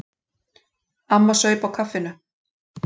Amma saup á kaffinu.